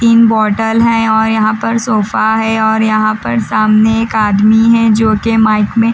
तीन बोटल हैं और यहाँ पर सोफा है और यहाँ पर सामने एक आदमी हैं जोके माइक में--